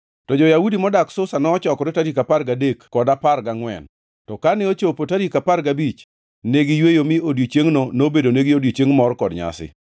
To jo-Yahudi modak Susa nochokore tarik apar gadek kod apar gangʼwen, to kane ochopo tarik apar gabich ne giyweyo mi odiechiengno nobedonegi odiechieng mor kod nyasi.